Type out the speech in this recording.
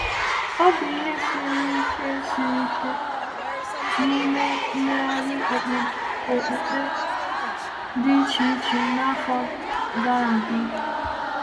Ọ bụ ike siri ike siri ike n’ime mmegharị okpukpe dị iche iche n’afọ gara aga.